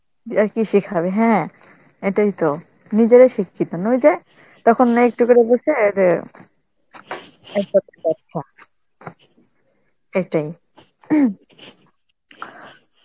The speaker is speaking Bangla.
আর কি শিখাবে, হ্যাঁ এটাই তো, নিজেরা শিক্ষিত না, ওই যে তখন নাইটটো করে বসে এর, সেটাই.